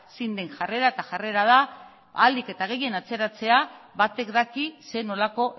zein den jarrera eta jarrera da ahalik eta gehien atzeratzea batek daki zer nolako